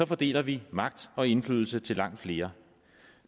fordeler vi magt og indflydelse til langt flere